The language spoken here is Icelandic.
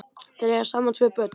Þau eiga saman tvö börn.